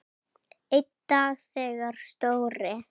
Einn dag þegar Stóri